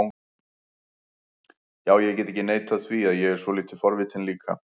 Já, ég get ekki neitað því að ég er svolítið forvitinn líka